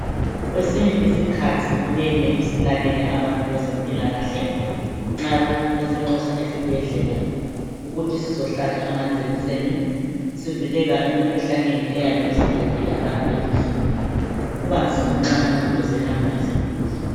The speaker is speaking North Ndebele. Kwesinye isikhathi kumele silalele abantu bezempilakahle nxa besinxusa esibhedlela ukuthi sizohlaba amajekiseni sivikela emikhuhlaneni eyabe isiqedile abantu elizweni, kuba nzima nxa umuntu esehamba esegula.